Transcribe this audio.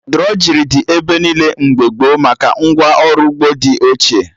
Drọjrị dị ebe niile mgbe gboo maka ngwa ọrụ ugbo dị ochie